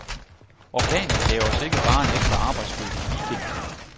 Orkanen gav os ikke bare en ekstra arbejdsbyrde i weekenden.